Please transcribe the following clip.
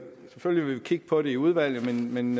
selvfølgelig kigge på det i udvalget men